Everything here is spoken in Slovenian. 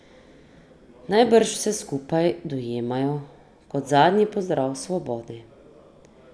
Najbrž vse skupaj dojemajo kot zadnji pozdrav svobodi.